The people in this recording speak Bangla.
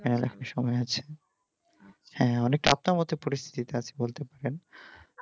সময় আছে হ্যাঁ অনেক মতো পরিস্তিতিতে আছি বলতে পারেন